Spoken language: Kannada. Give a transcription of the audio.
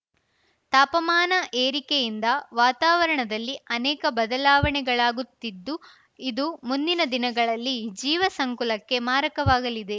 ತಾಪಮಾನ ಏರಿಕೆಯಿಂದ ವಾತಾವರಣದಲ್ಲಿ ಅನೇಕ ಬದಲಾವಣೆಗಳಾಗುತ್ತಿದ್ದು ಇದು ಮುಂದಿನ ದಿನಗಳಲ್ಲಿ ಜೀವ ಸಂಕುಲಕ್ಕೆ ಮಾರಕವಾಗಲಿದೆ